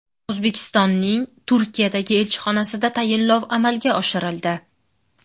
O‘zbekistonning Turkiyadagi elchixonasida tayinlov amalga oshirildi.